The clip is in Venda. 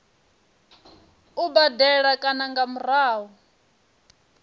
u badela kana nga murahu